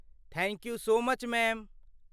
Thank you so much, ma'am.